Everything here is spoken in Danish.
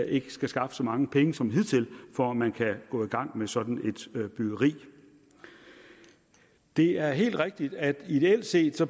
ikke skal skaffe så mange penge som hidtil for at man kan gå i gang med sådan et byggeri det er helt rigtigt at det ideelt set